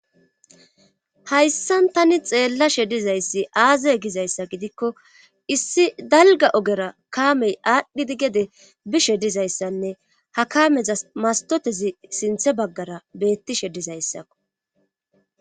Hayssan tani xeellashe dizayssi aazay gizayssa gidikko issi dalga ogera kaamey aadhdhidi gede bishe dizayssanne ha kameza mastotezi sinthe baggara beettishe dizayssakko.